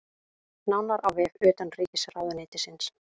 Nánar á vef utanríkisráðuneytisins